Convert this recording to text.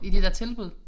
I de der tilbud